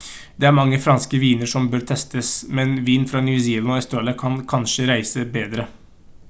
det er mange franske viner som bør testes men vin fra new zealand og australia kan kanskje reise bedre